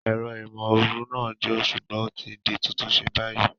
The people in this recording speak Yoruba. Ẹ̀rọ ìmóoru náà ń jò, ṣùgbọ́n o ti di títún ṣe báyìí